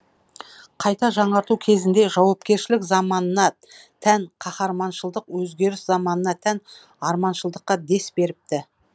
қайта жаңарту кезінде жаугершілік заманына тән қаһарманшылдық өзгеріс заманына тән арманшылдыққа дес беріпті